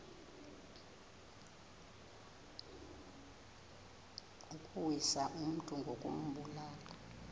ukuwisa umntu ngokumbulala